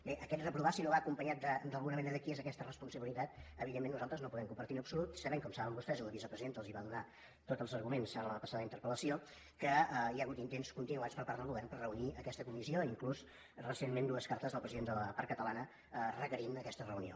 bé aquest reprovar si no va acompanyat d’alguna manera de qui és aquesta responsabilitat evidentment nosaltres no el podem compartir en absolut sabent com saben vostès i la vicepresidenta els va donar tots els arguments en la passada interpellació que hi ha hagut intents continuats per part del govern per reunir aquesta comissió i inclús recentment dues cartes del president de la part catalana en què requeria aquesta reunió